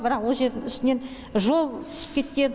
бірақ ол жердің үстінен жол түсіп кеткен